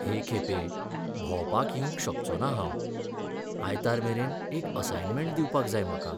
हे खेपे भोंवपाक येवंक शकचो ना हांव. आयतार मेरेन एक असायनमँट दिवपाक जाय म्हाका.